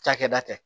Cakɛda tɛ